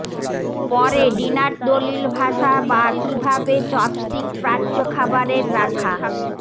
পরে ডিনার দলিল ভাষা বা কিভাবে চপস্টিক্স প্রাচ্য খাবারের রাখা